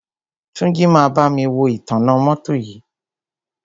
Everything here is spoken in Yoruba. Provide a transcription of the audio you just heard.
Túnjí máa bámi wo ìtanná mọ́tọ́ yìí.